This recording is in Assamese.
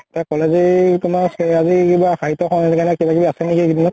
তাক college week তোমাৰ এই আজি কিবা সাহিত্য় সভা এনেকে কিবা কিবি আছে নেকি এইকেই দিনত।